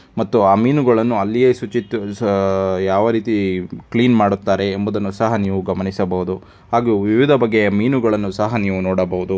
ಮತ್ತು ಆ ಮೀನುಗಳನ್ನು ಅಲ್ಲಿಯೇ ಶುಚಿತ ಸ ಅ ಯಾವ ರೀತಿ ಕ್ಲೀನ್ ಮಾಡುತ್ತಾರೆ ಎಂಬುದನ್ನು ಸಹ ನೀವು ಗಮನಿಸಬಹುದು ಹಾಗೂ ವಿವಿಧ ಬಗೆಯ ಮೀನುಗಳನ್ನು ಸಹ ನೀವು ನೋಡಬಹುದು.